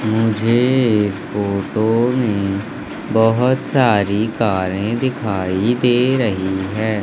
मुझे इस फोटो में बहुत सारी कारें दिखाई दे रही है।